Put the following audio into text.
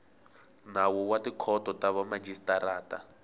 nawu wa tikhoto ta vamajisitarata